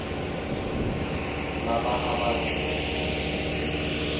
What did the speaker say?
lava a va ri na